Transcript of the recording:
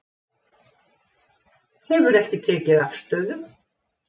Hefur ekki tekið afstöðu